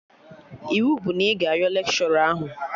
Iwu bụ na ị ga ayọ lekshọra ahụ!